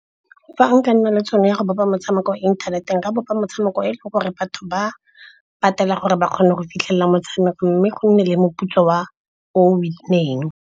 Fa nka nna le tšhono ya go bopa motshameko inthaneteng nka bopa motshameko eleng gore batho ba patela gore ba kgone go fitlhelela motshameko. Mme go nne le moputso wa o win-eng.